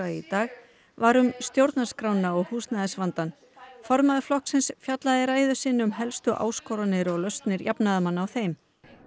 í dag var um stjórnarskrána og húsnæðisvandann formaður flokksins fjallaði í ræðu sinni um helstu áskoranir og lausnir jafnaðarmanna á þeim